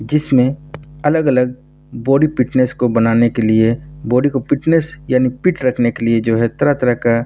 जिसमें अलग-अलग body fitness को बनाने के लिए बॉडी को फिटनेश यानि फिट रखने के लिए जो है तरह तरह का --